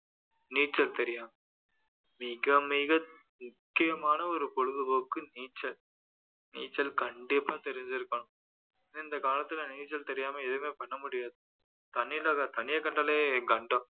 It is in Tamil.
நீச்சல் தெரியும் மிக மிக முக்கியமான ஒரு பொழுதுபோக்கு நீச்சல் நீச்சல் கண்டிப்பா தெரிஞ்சிருப்பாங்க இந்த காலத்துல நீச்சல் தெரியாம எதுவுமே பண்ண முடியாது தண்ணியை கண்டாலே கண்டம்